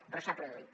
però s’ha produït